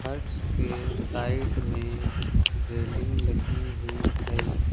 Huts के side में railing लगी हुई है।